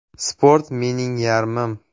Sport mening yarmim.